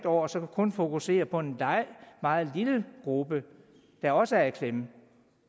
år så kun fokuserer på en meget lille gruppe der også er i klemme